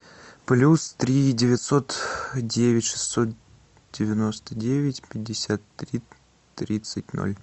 плюс три девятьсот девять шестьсот девяносто девять пятьдесят три тридцать ноль